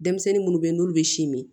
Denmisɛnnin munnu be ye n'olu be si min